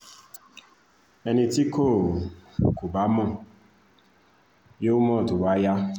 ẹni tí kò kò bá mọ̀ yóò mọ̀ tó bá yá